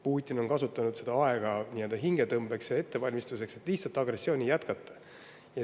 Putin kasutas seda aega nii-öelda hingetõmbeks ja ettevalmistusteks, et lihtsalt agressiooni jätkata.